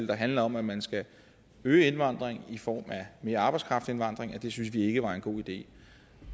der handler om at man skal øge indvandring i form af mere arbejdskraftindvandring synes vi ikke var en god idé